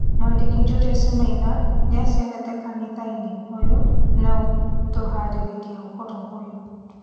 Mwandĩki Julius Maina nĩacerete kanitha-inĩ ũyũ na gũtũharĩrĩa ũhoro ũyũ